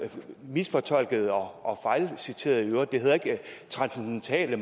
misfortolkede og fejlciterede i øvrigt for det hedder ikke transcendentale